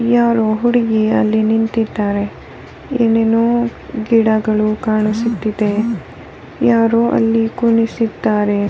ಯಾರೊ ಹುಡುಗಿ ಅಲ್ಲಿ ನಿಂತ್ತಿದ್ದಾಳೆ ಏನೇನೋ ಗಿಡಗಳು ಕಾಣಿಸುತ್ತಿದೆ ಯಾರೊ ಅಲ್ಲಿ ಕುಣಿಸಿದ್ದಾರೆ.